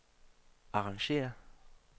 arrangér